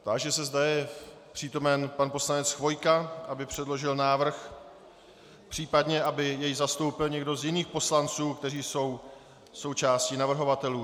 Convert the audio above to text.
Táži se, zda je přítomen pan poslanec Chvojka, aby předložil návrh, případně aby jej zastoupil někdo z jiných poslanců, kteří jsou součástí navrhovatelů.